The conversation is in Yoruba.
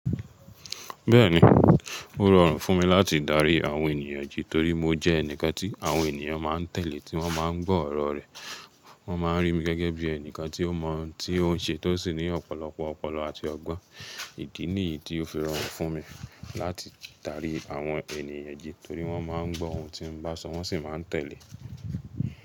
Bẹ́ẹ̀ni, ó rọrùn fún mi láti darí àwọn ènìyàn jí torí mo jẹ́ ẹnìkan tí àwọn ènìyàn máa ń tẹ̀lé tí wọ́n máa ń gbọ́ ọ̀rọ̀ rẹ̀. Wọ́n ma ń rí mi gẹ́gẹ́ bí ẹnìkan tí ó mọ ohun tí ó ń ṣe tó sì ní ọ̀pọ̀lọpọ̀ ọpọlọ àti ọgbọ́n. Ìdí nìyí tí ó fi rọrùn fún mi láti darí àwọn ènìyàn jí torí wọ́n máa ń gbọ́ ohun tí mo bá sọ wọ́n sì máa ń tẹ̀lé.